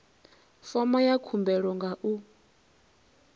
fomo ya khumbelo nga u